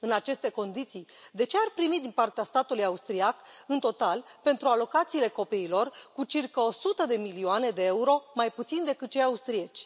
În aceste condiții, de ce ar primi din partea statului austriac, în total, pentru alocațiile copiilor, cu circa o sută de milioane de euro mai puțin decât cei austrieci?